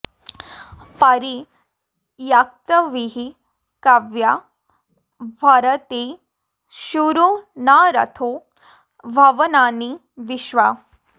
परि॒ यत्क॒विः काव्या॒ भर॑ते॒ शूरो॒ न रथो॒ भुव॑नानि॒ विश्वा॑